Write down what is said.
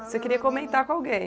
Você queria comentar com alguém.